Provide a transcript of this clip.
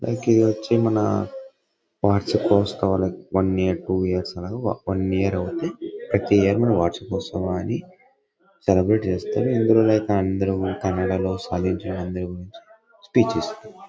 Like వచ్చి మన వార్షికోత్సవమని like one year to years అలగా వన్ ఇయర్ అవుది. ప్రతి ఎవరీ వన్ ఇయర్ కి వార్షికోత్సవం అని సెలబ్రేట్ చేస్తారు. ఇందులో లైక్ అందరూ కన్నడలో సాధించిన మంది స్పీచ్ --